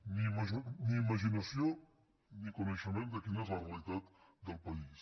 ni imaginació ni coneixement de quina és la realitat del país